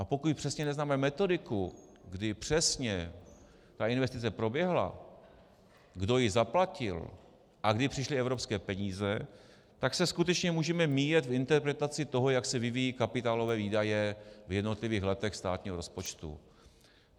A pokud přesně neznáme metodiku, kdy přesně ta investice proběhla, kdo ji zaplatil a kdy přišly evropské peníze, tak se skutečně můžeme míjet v interpretaci toho, jak se vyvíjejí kapitálové výdaje v jednotlivých letech státního rozpočtu.